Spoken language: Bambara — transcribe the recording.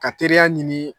Ka teriya ɲini